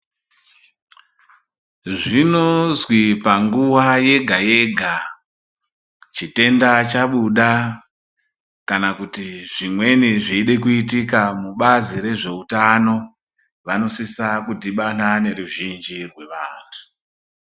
Zvinozwi panguwa yega yega chitenda chabuda kana kuti zvimweni zveide kuitika mubazi rezveutano vanosisa kudhibana neruzhinji rwevanthu.